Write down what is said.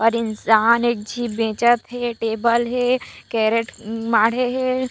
और इंसान एक झीब बेचत हे टेबल हे कैरेट माढ़े हे।